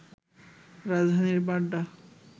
রাজধানীর বাড্ডা